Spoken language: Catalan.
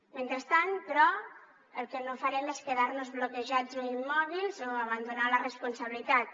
mentrestant però el que no farem és quedar nos bloquejats o immòbils o abandonar la responsabilitat